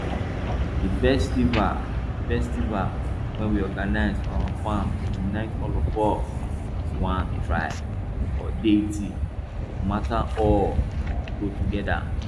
di festival festival wey we organize for our farm dey unite all of us as one tribe or deity no matter all go gather